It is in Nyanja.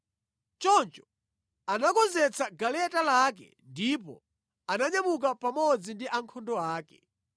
Choncho anakonzetsa galeta lake ndipo ananyamuka pamodzi ndi ankhondo ake.